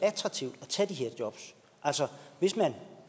attraktivt at tage de her jobs altså hvis man